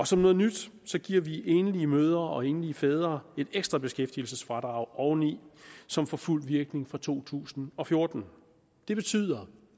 som noget nyt giver vi enlige mødre og enlige fædre et ekstra beskæftigelsesfradrag oveni som får fuld virkning fra to tusind og fjorten det betyder